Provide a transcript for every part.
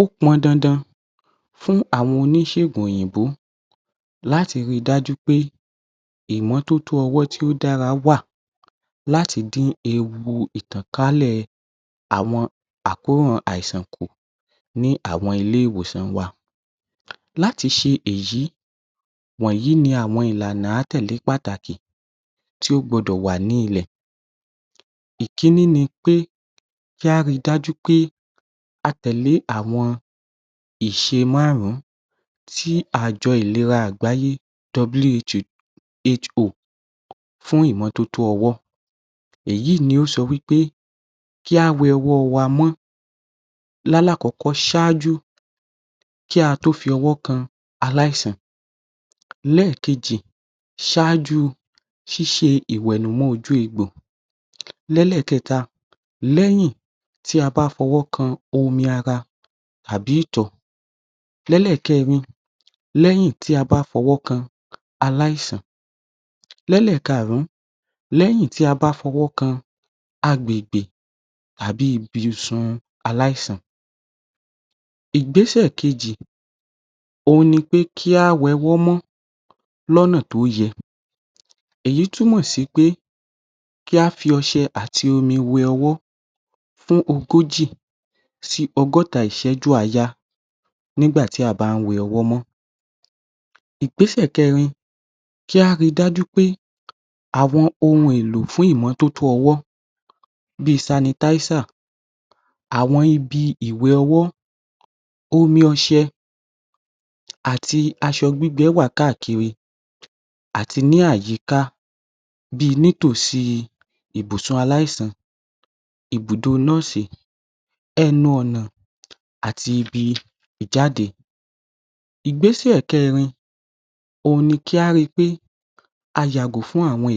‎Ó pọn dandan fún àwọn oníṣègùn òyìnbó láti ríi dájú pé ìmọ́totó ọwọ́ tó dára wà láti dín ewu ìtànkálẹ̀ àwọn àkóràn àìsàn kù ní àwọn ilé ìwòsàn wa láti ṣe èyí wọ̀nyí ni àwọn ìlànà àátẹ̀lé pàtàkì tí ó gbọdọ̀ wà ní ilẹ̀ ìkíní ni pé kí á rí i dájú pé a tẹ̀lé àwọn ìṣe márùn-ún tí àjọ ìlera àgbáyé WHO fún ìmọ́totó ọwọ́, èyí ni ó sọ wí pé kí á wẹ ọwọ́ wa mọ́ lálákọ̀ọ́kọ́ ṣáájú kí á tó fọwọ́ kan aláìsàn ẹ́ẹ̀kejì ṣáájú kí á tó ṣe ìwẹ̀nùmọ́ ojú egbò lẹ́lẹ̀ẹkẹ̀ta, lẹ́yìn tí a bá fọwọ́ kan omi ara àbí ìtọ̀ lẹ́lẹ̀ẹkẹrin, lẹ́yìn tí a bá fọwọ́ kan aláìsàn lẹ́lẹ́ẹ̀kaàrún, lẹ́yìn tí a bá fọwọ́ kan agbègbè tàbí ìbùsùn aláìsàn, tàbí ìbùsùn aláìsàn, ìgbésẹ̀ kejì ni pé kí á wẹ ọwọ́ mọ́, lọ́nà tí ó yẹ èyí túmọ̀ sí wí pé, kí á fi ọṣẹ àti omi wẹ ọwọ́ fún ogójì sí ọgọ́ta ìṣẹ́jú àáyá nígbà tí a bá ń wẹ ọwọ́ mọ́ ìgbẹ́sẹ̀ kẹẹ̀rin, kí á ríi dájú pé àwọn ohun èlò fún ìmọ́totó ọwọ́ bii sanitizer àwọn ibi ìwẹ̀ ọwọ́, omi ọṣẹ àti aṣọ gbígbẹ wà káàkiri àti ní ayika, bíi ní tòsí ibùsùn aláìsàn, ibùdó nọ́ọ̀sì, ẹnu ọ̀nà, àti ibi ìjáde ìgbésẹ̀ kẹrin ni kí á rí I pé ayàgò fún àwọn èékánná ọwọ́ gígùn ìgbésẹ̀ kẹrin ni kí á rí I pé aàti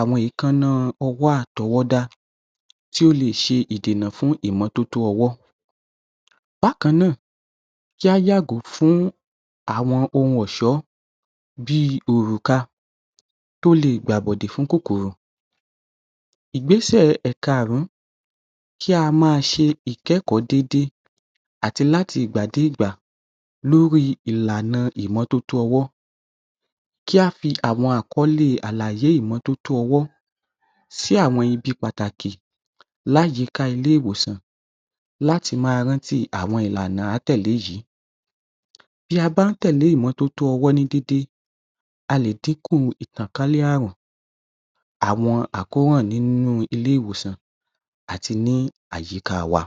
àwọn èékánná ọwọ́ àtọwọ́dá tí ó lè ṣe ìdènà fún ìmọ́totó ọwọ́ bákan náà kí á yàgò fún àwọn ohun ẹ̀sọ́ bíi òrùka tí ó lè gbàbọ̀dè fún kòkòrò ìgbẹ́sẹ̀ ìkaàrún kí á máa ṣe ìkẹ́kọ̀ọ́ déédéé àti láti ìgbà dé ìgbà lórí ìlànà ìmọ́totó ọwọ́ kí á fi àwọn àkọ́ọ́lẹ̀ ìmọ́totó sí àwọn ibi pàtàkì láyìíká ilé ìwòsàn láti máa rántí àwọn ìlànà àátẹ̀lé yìí bí a bá ń tẹ̀lé ìmọ́totó déédéé a lè dínkù ìtànkálẹ̀ Ààrùn ‎ àwọn àkóràn ní ilé ìwòsàn àti ní àyíká wa. ‎